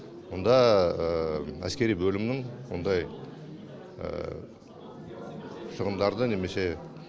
онда әскери бөлімнің ондай шығындарды немесе